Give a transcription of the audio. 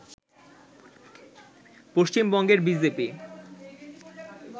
পশ্চিমবঙ্গের B J P